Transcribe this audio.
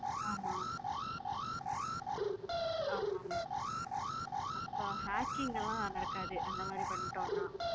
ஆமா ஆமா ஆமா அப்போ hacking லம் நடக்காது அந்த மாரி பண்ணிட்டோம் நான்